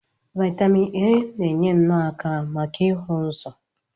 Vaitamin A na-enye nno aka maka ịhụ ụzọ.